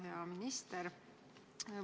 Hea minister!